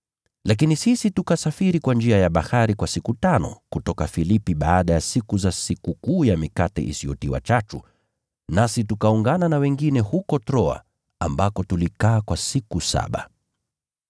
Lakini sisi tukasafiri kwa njia ya bahari kwa siku tano kutoka Filipi baada ya siku za Sikukuu ya Mikate Isiyotiwa Chachu, nasi tukaungana na wengine huko Troa, ambako tulikaa kwa siku saba.